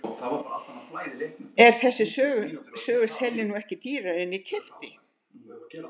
En þessa sögu sel ég nú ekki dýrara en ég keypti hana.